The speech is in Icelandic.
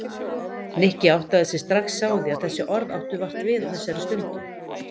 Nikki áttaði sig strax á því að þessi orð áttu vart við á þessari stundu.